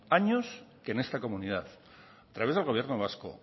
años que en esta comunidad a través del gobierno vasco